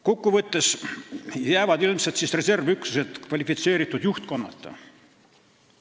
Kokkuvõtlikult öeldes jäävad reservüksused siis ilmselt kvalifitseeritud juhtkonnata.